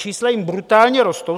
Čísla jim brutálně rostou.